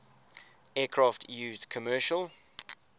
aircraft used commercial